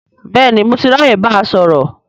Bẹ́ẹ̀ni, mo ti ráyè báa sọ̀rọ̀